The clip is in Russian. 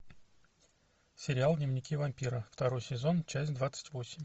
сериал дневники вампира второй сезон часть двадцать восемь